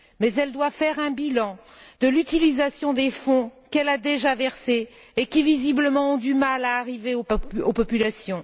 Mais elle doit faire un bilan de l'utilisation des fonds qu'elle a déjà versés et qui, visiblement, ont du mal à parvenir aux populations.